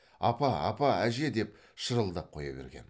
апа апа әже деп шырылдап қоя берген